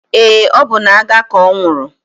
Eé, ọ bụ n'agha ka ọ nwụrụ.